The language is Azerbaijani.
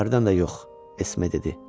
Hərdən də yox, Esme dedi.